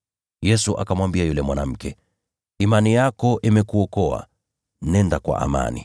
Yesu akamwambia yule mwanamke, “Imani yako imekuokoa; nenda kwa amani.”